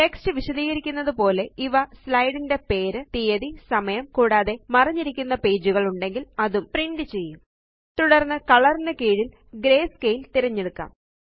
text വിശദീകരിക്കുന്നതുപോലെ ഇവ slide ന്റെ പേര് തീയതി സമയംകൂടാതെ തുടര്ന്ന് കളർ ന് കീഴില് ഗ്രേ സ്കേൽ തിരഞ്ഞെടുക്കാം